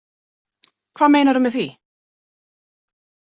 Hvað meinarðu með því?